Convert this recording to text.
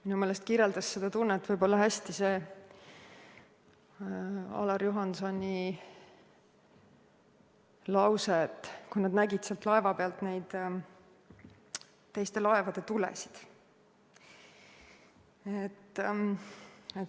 Minu meelest kirjeldas seda tunnet hästi Ain-Alar Juhansoni lause selle kohta, kui nad nägid sealt laeva pealt teiste laevade tulesid.